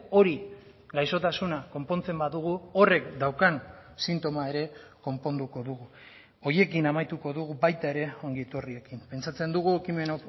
hori gaixotasuna konpontzen badugu horrek daukan sintoma ere konponduko dugu horiekin amaituko dugu baita ere ongietorriekin pentsatzen dugu ekimen